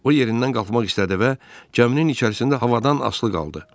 O yerindən qalxmaq istədi və gəminin içərisində havadan asılı qaldı.